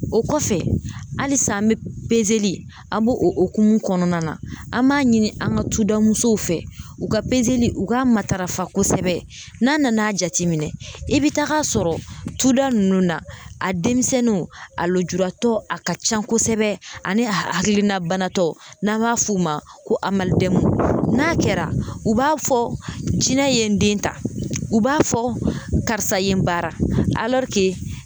O kɔfɛ, halisa an be an b'o o hokumu kɔnɔna na , an b'a ɲini an ka tugoda musow fɛ u ka u k'a matarafa kosɛbɛ, n'a nana jateminɛ i bi tag'a sɔrɔ tugoda nunnu na a denmisɛnninw a lujuratɔ a ka ca kosɛbɛ ani a hakilina banatɔ n'an b'a f'u ma ko amadu n'a kɛra u b'a fɔ jinɛ ye n den ta u b'a fɔ karisa ye n bara